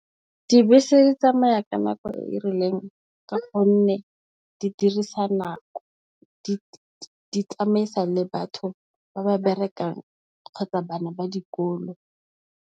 Dibese di tsamaya ka nako e rileng ka gonne, di dirisa nako, di tsamaisa le batho ba ba berekang kgotsa bana ba dikolo.